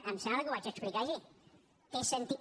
em sembla que ho vaig explicar ahir té sentit